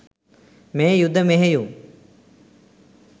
මේ යුධ මෙහෙයුම්